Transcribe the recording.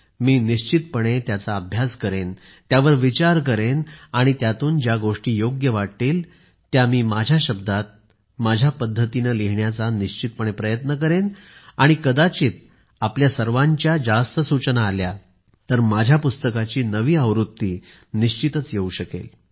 मी निश्चितपणे त्यांचा अभ्यास करेन त्यावर विचार करेन आणि त्यातून ज्या गोष्टी योग्य वाटतील त्या मी माझ्या शब्दात माझ्या पद्धतीने लिहिण्याचा निश्चितपणे प्रयत्न करेन आणि कदाचित आपल्या सर्वांच्या जास्त सूचना आल्या तर माझ्या पुस्तकाची नवी आवृत्ती निश्चितच येऊ शकेल